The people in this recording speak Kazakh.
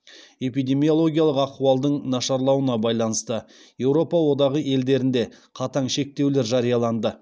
эпидемиологиялық ахуалдың нашарлауына байланысты еуропа одағы елдерінде қатаң шектеулер жарияланды